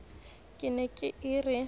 ka e ne e re